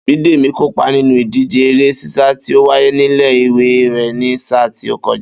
Bídèmí kópa nínú ìdíje eré sísa tí ó wáyé nílé ìwé rè̩ ní sáà tí ó ko̩ja